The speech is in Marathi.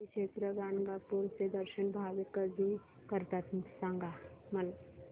श्री क्षेत्र गाणगापूर चे दर्शन भाविक कधी करतात मला सांग